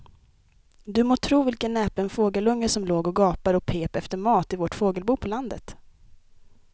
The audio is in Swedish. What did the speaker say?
Du må tro vilken näpen fågelunge som låg och gapade och pep efter mat i vårt fågelbo på landet.